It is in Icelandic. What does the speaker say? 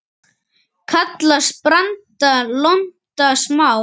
Kallast branda lonta smá.